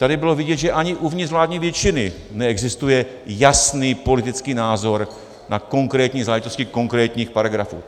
Tady bylo vidět, že ani uvnitř vládní většiny neexistuje jasný politický názor na konkrétní záležitosti konkrétních paragrafů.